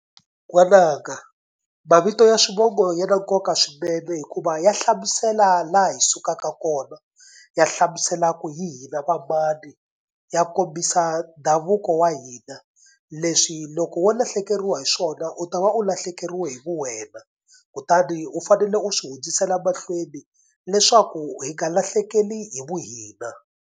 N'wananga mavito ya swivongo ya na nkoka swinene hikuva ya hlamusela laha hi sukaka kona ya hlamuselaka ku hi hina va mani ya kombisa ndhavuko wa hina. Leswi loko wo lahlekeriwa hi swona u ta va u lahlekeriwe hi ku wena kutani u fanele u swi hundzisela mahlweni leswaku hi nga lahlekeli hi vuhina.